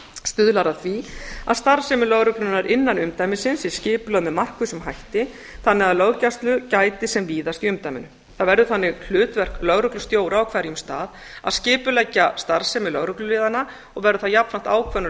stuðlar að því að starfsemi lögreglunnar innan umdæmisins sé skipulögð með markvissum hætti þannig að löggæslu gæti sem víðast í umdæminu það verður þannig hlutverk lögreglustjóra á hverjum stað að skipuleggja starfsemi lögregluliðanna og verður það jafnframt ákvörðun